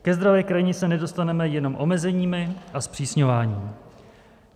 Ke zdravé krajině se nedostaneme jenom omezeními a zpřísňováním.